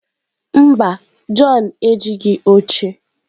Mba, john ejighị oche